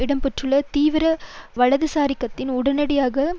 இடம்பெற்றுள்ள தீவிர வலதுசாரி சக்திகள் உடனடியாக